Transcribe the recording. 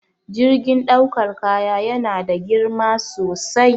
Jirgin ɗaukar kaya yana da girma sosai